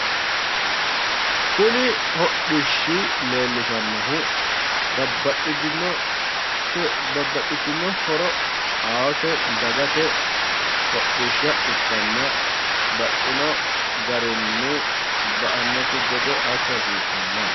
Kuni hodhishshi leellishannohu babbaxxitino horo aate dagate hodhishshsa ikkanna baxxino garinni ba"annokki gede assa hasiissanno